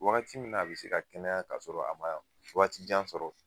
Wagati min na a be se ka kɛnɛya ka sɔrɔ a ma wagati jan sɔrɔ.